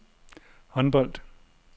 håndbold